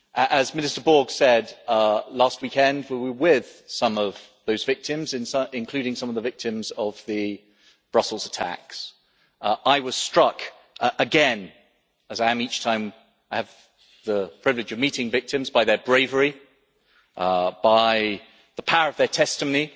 As Minister Borg said, last weekend we were with some of those victims, including some of the victims of the Brussels attacks, I was struck again as I am each time I have the privilege of meeting victims by their bravery and by the power of their testimony.